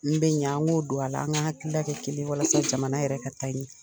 N bɛ ɲɛ an k'o don a la an ka hakilina kɛ kelen ye walasa jamana yɛrɛ ka taa